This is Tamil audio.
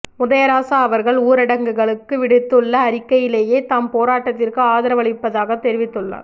உதயராசா அவர்கள் ஊடகங்களுக்கு விடுத்துள்ள அறிக்கையிலேயே தாம் போராட்டத்திற்கு ஆதரவளிப்பதாக தெரிவித்துள்ளார்